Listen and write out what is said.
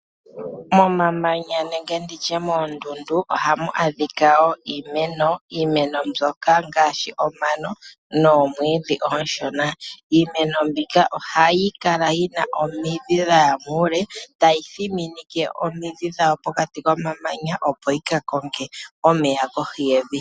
Momamanya nenge nditye moondundu ohàmu adhika wo iimeno, iimeno mbyoka ngaashi omano noomwiidhi oonshona. Iimeno mbika ohayi kala yi na omidhi dhaya muule, tayi thiminike omidhi dhawo pokati komamanya, opo yi ka konge omeya kohi yevi.